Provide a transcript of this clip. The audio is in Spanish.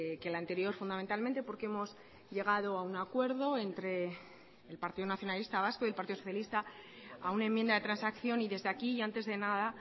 que el anterior fundamentalmente porque hemos llegado a un acuerdo entre el partido nacionalista vasco y el partido socialista a una enmienda de transacción y desde aquí y antes de nada